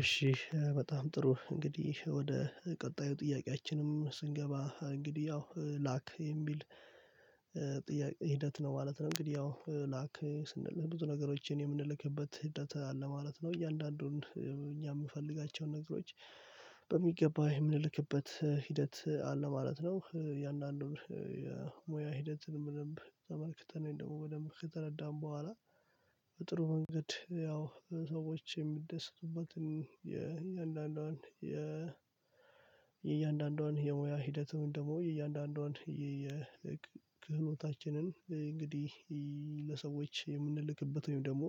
እሺ በጣም ጥሩ እንግዲህ ወደ ቀጣዩ ጥያቄያችንም ስንገባ እንግዲህ ያው ላክ የሚል ሂደት ነው ማለት ነው። እንግዲህ ያው ላክ ስንል ብዙ ነገሮችን የምንልክበት ሂደት አለ ማለት ነው። እያንዳንዱን እኛ የምንፈልጋቸውን ነገሮች በሚገባ የምንልክበት ሂደት አለ ማለት ነው። የእያንዳንዱን የሙያ ሂደትን በደነብ ተመልክተን ወይም ደግሞ በደንብ ከተረዳን በኋላ በጥሩ መንገድ ያው ሰዎች የሚደሰቱበትን የእያንዳንዱን የሙያ ሂደቱን ወይም ደግሞ የእያንዳንዷን ክህሎታችንን እንግዲህ ለሰዎች የምንልክበት ወይም ደግሞ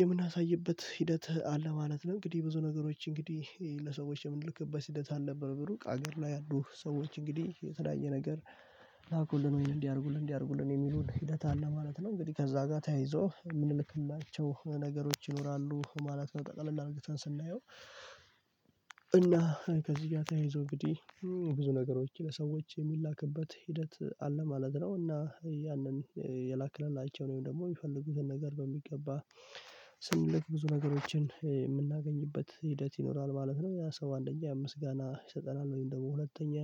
የምናሳይበት ሂደት አለ ማለት ነው። እንግዲህ ብዙ ነገሮች እንግዲህ ለሰዎች የምንልክበት ሂደት አልነበረም። ሩቅ አገር ላይ ያሉ ሰዎች እንግዲህ የተለያየ ነገር ላኩልን ወይም እንዲህ አድርጉልን እንዲህ አድርጉልን የሚሉን ሂደት አለ ማለት ነው። እንግዲህ ከዛ ጋር ተያይዞ ምንልክላቸው ነገሮች ይኖራሉ ማለት ነው። ጠቅለል አድርገን ስናየው እና ከዚህ ጋር ተያይዞ እንግዲህ ብዙ ነገሮች ለሰዎች የሚላክበት ሂደት አለ ማለት ነው። እና ያንን የላክንላቸው ወይም ደግሞ የፈልጉትን ነገር በሚገባ ስንልክ ብዙ ነገሮችን የምናገኝበት ሂደት ይኖራል። ማለት ነው ያ ሰው አንደኛ ምስጋና ይሰጠናል ወይም ደግሞ ሁለተኛ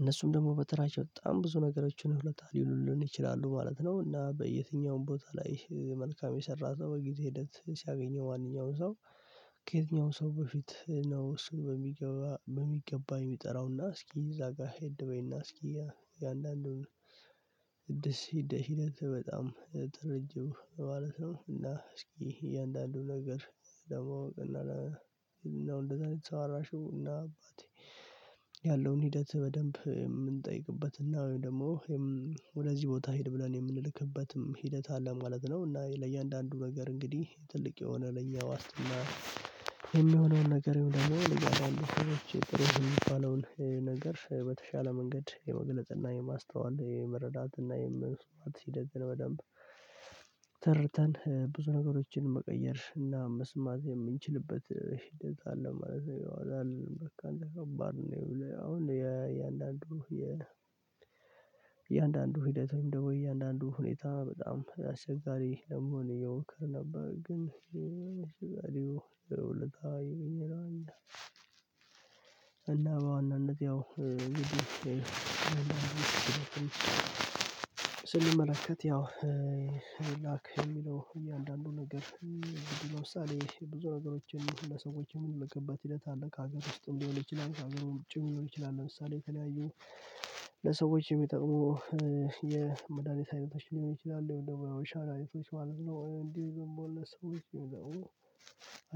እነሱም ደግሞ በተራቸው በጣም ብዙ ነገሮችን ውለታ ሊውሉልን ይችላሉ ማለት ነው። እና በየትኛውም ቦታ ላይ መልካም የሰራ ሰው በጊዜ ሂደት ሲያገኘው ማንኛውንም ሰው ከየትኛውም ሰው በፊት ነው እሱን በሚገባ የሚጠራውና እስኪ እዛ ጋር ሄድ በይና እስኪ የአንዳንዱን ቅድስት ሂደት በጣም ተረጅው ማለት ነው። እና እስኪ እያንዳንዱ ነገር ለማወቅና እና አባቴ ያለውን ሂደት በደንብ የምንጠይቅበት እና ወይም ደግሞ ወደዚህ ቦታ ሂድ ብለን የምንልክበትም ሂደት አለ ማለት ነው። እና ለእያንዳንዱ ነገር እንግዲህ ትልቅ የሆነ ለእኛ ዋስትና የሚሆነውን ነገር ደግሞ ለእያንዳንዱ ሰዎች ጥሩ የሚባለውን ነገር በተሻለ መንገድ የመግለጽ እና የማስተዋል የመረዳትና ሂደትን በደንብ ተርተን ብዙ ነገሮችን መቀየር እና መስማት የምንችልበት ሂደት አለ ማለት ነው። በቃ ከባድ ነው ይኸውልህ አሁን የእያንዳንዱ የ የ እያንዳንዱ ሂደትም ደግሞ እያንዳንዱ ሁኔታ በጣም አስቸጋሪ ለመሆን እየሞከርን ነበር። ግን እና በዋናነት ያው እንግዲህ ስንመለከት ያው ላክ የሚለው እያንዳንዱ ነገር ብዙ ለምሳልሌ ብዙ ነገሮችን ለሰዎች የምንልክበት ሂደት አለ ከሀገር ውስጥ ሊሆን ይችላል ከሀገር ውጪ ሊሆን ይችላል ለምሳሌ የተለያዩ ለሰዎች የሚጠቅሙ የመዳኒት አይነቶች ሊሆን ይችላሉ። ወይም ደግሞ ሻላሪቶች ማለት ነው። እንዲህ የሚባሉ ሰዎች አየሁ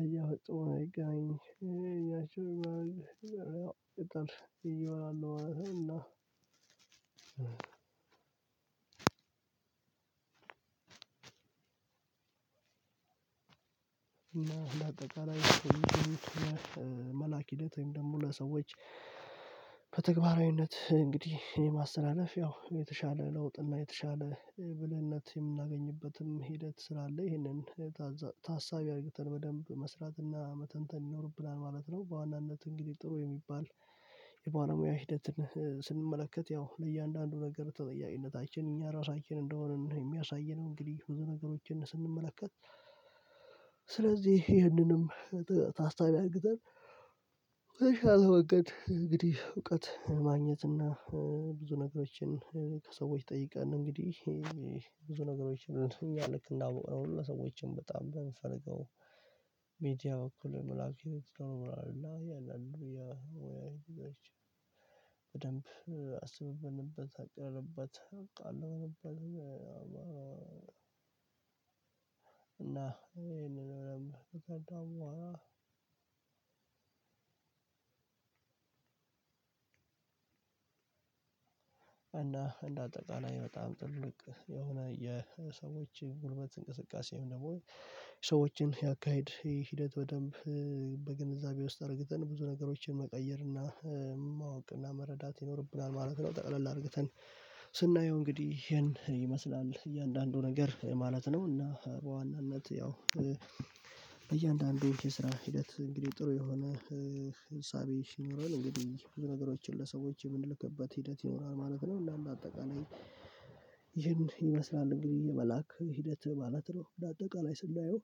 አያወጡኝ ያቺን በኋላ ይወራሉ እና አምስት እና አጠቃላይ መላክ ሂደት ወይም ደግሞ ለሰዎች በተግባራዊነት እንግዲህ የማስተላለፍ ያው የተሻለ ለውጥና የተሻለ ብልህነት የምናገኝበትም ሂደት ስላለ ይሄንን ታሳቢ አድርገን በደንብ መስራትና መተንተን ይኖርብናል ማለት ነው። በዋናነት እንግዲህ ጥሩ የሚባል የባለሙያ ሂደትን ስንመለከት ያው ለእያንዳንዱ ነገር ተጠያቂነታችን እኛ ራሳችን እንደሆነ የሚያሳየን እንግዲህ ብዙ ነገሮችን ስንመለከት ስለዚህ ይሄንንም ታስቢ አድርገን በተሻለ መንገድ እንግዲህ እውቀት ማግኘት እና ብዙ ነገሮችን ከሰዎች ጠይቀን እንግዲህ ብዙ ነገሮች እንደው ልክ እንዳውቅነው ሁሉ ሰዎችን በጣም ብንፈልገው ሚዲያ በኩል መላእክት ይኖራሉ እና እያንዳንዱ ያህል ያው በደንብ አስበበንበት አቅደንበት እና ይሄንን ከባድነዋ እና እንደ አጠቃላይ በጣም ትልቅ የሆነ የሰዎች ጉልበት እንቅስቃሴም ደግሞ ሰዎችን ያካሄድ ሂደት በደንብ በግንዛቤ ውስጥ አድርገን ብዙ ነገሮችን መቀየር እና ማወቅ እና መረዳት ይኖርብናል ማለት ነው። ጠቅለል አድርገን ስናየው እንግዲህ ይሄን ይመስላል እያንዳንዱ ነገር ማለት ነው። እና በዋናነት ያው እያንዳንዱን የስራ ሂደት እንግዲህ ጥሩ የሆነ እሳቤ ሲኖረን እንግዲህ ብዙ ነገሮችን ለሰዎች የምንልክበት ሂደት ይኖራል ማለት ነው እና እንደ አጠቃላይ ይህን ይመስላል እንግዲህ የመላክ ሂደት ማለት ነው እንደጠቃላይ ስናየው።